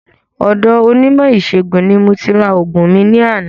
Ọ̀do onímò ìsẹ̀gùn ni mo ti ra ògùn mi ní àná